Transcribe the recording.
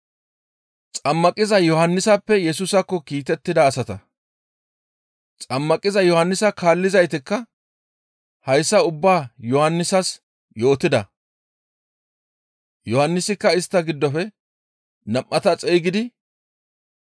Xammaqiza Yohannisa kaallizaytikka hayssa ubbaa Yohannisas yootida. Yohannisikka istta giddofe nam7ata xeygidi,